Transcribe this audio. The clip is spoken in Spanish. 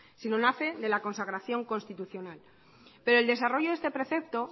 sino nace de la consagración constitucional pero el desarrollo de este precepto